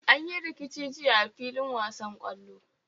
An yi rikici jiya a fillin wasan kwallo.